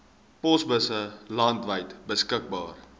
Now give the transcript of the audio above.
posbusse landwyd beskikbaar